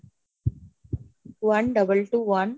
one, double, two, one